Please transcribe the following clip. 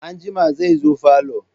Anjima zai zo falo.